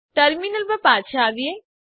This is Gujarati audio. ટર્મીનલ પર પાછા આવીએ